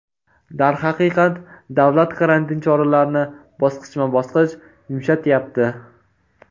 Darhaqiqat, davlat karantin choralarni bosqichma-bosqich yumshatyapti.